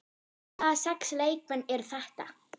Hvaða sex leikmenn eru þetta?